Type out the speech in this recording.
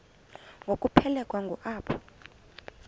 ngokuphelekwa ngu apho